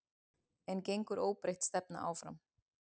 En gengur óbreytt stefna áfram?